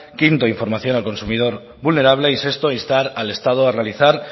quinto información al consumidor vulnerable y sexto instar al estado a realizar